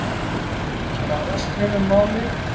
Blaðaskrif um málið.